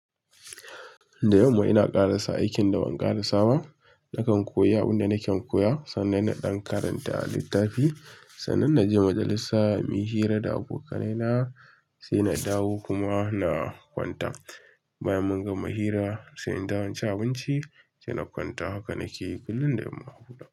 Da yamma ina karasa aikin da ban karasa ba. Nakan koyi abunda nakan koya sannan na dan karanta littafi sannan naje waje lisa muyi hira da abokanena sai na dawo kuma na kwanta bayan mun gama hira sai in dawo in ci abunci sai na kwanta. Haka nakeyi kullum da yamma huda.